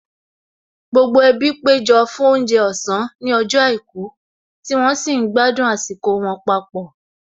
Gbogbo ẹbí péjọ fún oúnjẹ ọ̀sán ní ọjọ́ àìkú tí wọ́n sì ń gbádùn àsìkò wọn papọ̀